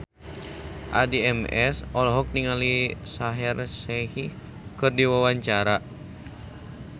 Addie MS olohok ningali Shaheer Sheikh keur diwawancara